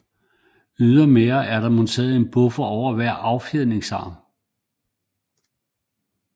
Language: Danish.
Ydermere er der monteret en buffer over hver affjedringsarm